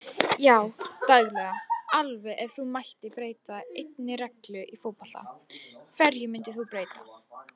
Já daglega allavega Ef þú mættir breyta einni reglu í fótbolta, hverju myndir þú breyta?